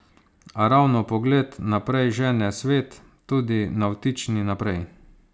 A ravno pogled naprej žene svet, tudi navtični, naprej.